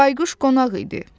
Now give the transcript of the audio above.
Bayquş qonaq idi.